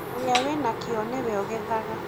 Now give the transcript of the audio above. ũrĩa wĩ na kĩo nĩwe ũgethaga